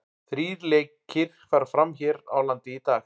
Þrír lekir fara fram hér á landi í dag.